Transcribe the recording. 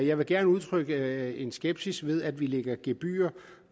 jeg vil gerne udtrykke skepsis ved at vi lægger gebyrer